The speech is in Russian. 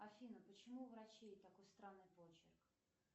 афина почему у врачей такой странный почерк